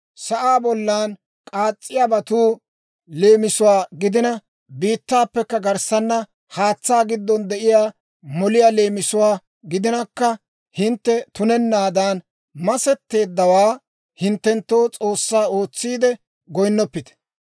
sa'aa bollan k'aas's'iyaabatu leemisuwaa gidina, biittaappekka garssana haatsaa giddon de'iyaa moliyaa leemisuwaa gidinakka, hintte tunennaadan masetteeddawaa hinttenttoo s'oossaa ootsiide goyinnoppite.